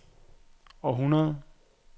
århundrede